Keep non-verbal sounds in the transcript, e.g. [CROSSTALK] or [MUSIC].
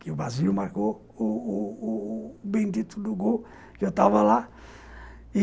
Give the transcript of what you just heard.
Que o [UNINTELLIGIBLE] marcou o o o bendito gol, que eu estava lá.